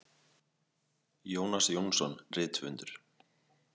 Jónas Jónsson rithöfundur.